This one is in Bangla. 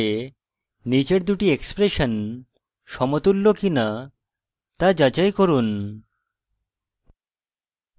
নীচের দুটি এক্সপ্রেশন সমতুল্য কিনা তা যাচাই করুন